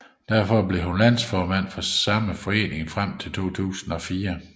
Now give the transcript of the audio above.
Derefter blev hun landsformand for samme forening frem til 2004